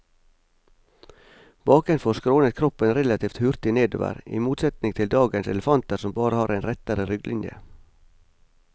Bakenfor skrånet kroppen relativt hurtig nedover, i motsetning til dagens elefanter som har en rettere rygglinje.